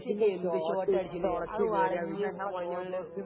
Messi ഒക്കെ എന്തു ഷോട്ട അടിച്ചിരിക്കുന്നേ അത് വളഞ്ഞു പുളഞ്ഞങ്ങട്